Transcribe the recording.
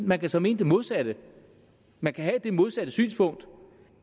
man kan så mene det modsatte man kan have det modsatte synspunkt